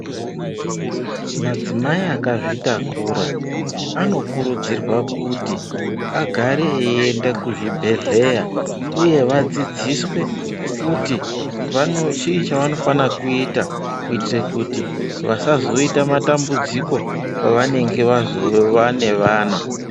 Madzimai akazvitakura anokurudzirwa kuti agare eienda kuzvibhedhleya uye vadzidziswe kuti chii chavanofana kuita, kuite kuti vasazoita matambudziko pavanenge vaane vana.